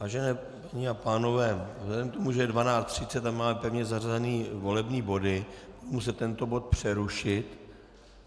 Vážené paní a pánové, vzhledem k tomu, že je 12.30 a máme pevně zařazené volební body, musím tento bod přerušit.